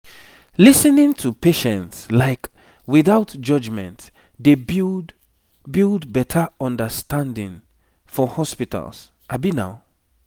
lis ten ing to patients like without judgement dey build build better understanding for hospitals